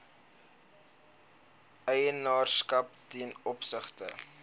eienaarskap ten opsigte